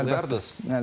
Bunu biraz açıqlayardız.